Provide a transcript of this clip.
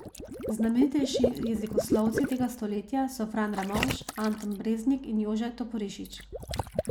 Znamenitejši jezikoslovci tega stoletja so Fran Ramovš, Anton Breznik in Jože Toporišič.